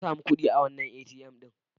Na sami kuɗi a wannan ATM ɗin.